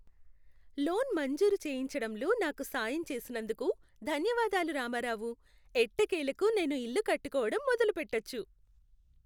Loan మంజూరు చేయించడంలో నాకు సాయం చేసినందుకు ధన్యవాదాలు రామారావు. ఎట్టకేలకు నేను ఇల్లు కట్టుకోవడం మొదలుపెట్టొచ్చు.